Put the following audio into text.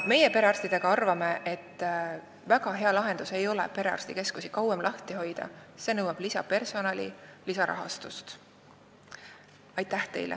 Meie perearstidega arvame, et väga hea lahendus ei ole perearstikeskusi kauem lahti hoida, see nõuab lisapersonali ja lisarahastust.